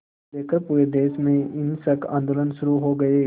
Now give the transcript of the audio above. लेकर पूरे देश में हिंसक आंदोलन शुरू हो गए